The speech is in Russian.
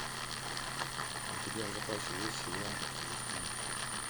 у тебя в запасе есть сериал чужестранка